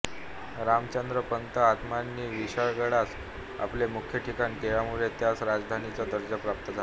रामचंद्रपंत आमात्यांनी विशाळगडास आपले मुख्य ठिकाण केल्यामुळे त्यास राजधानीचा दर्जा प्राप्त झाला